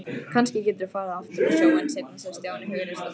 Kannski geturðu farið aftur á sjóinn seinna sagði Stjáni hughreystandi.